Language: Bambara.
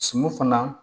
Suman fana